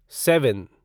seven